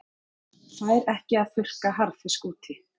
Fær ekki að þurrka harðfisk úti